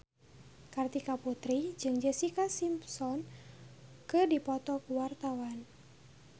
Kartika Putri jeung Jessica Simpson keur dipoto ku wartawan